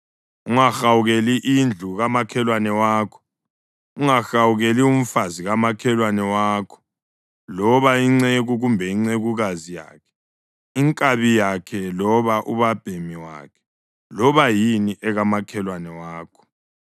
Ungahawukeli indlu kamakhelwane wakho. Ungahawukeli umfazi kamakhelwane wakho, loba inceku kumbe incekukazi yakhe, inkabi yakhe loba ubabhemi wakhe loba yini ekamakhelwane wakho.”